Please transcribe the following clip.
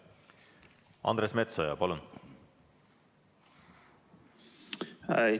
Andres Metsoja, palun!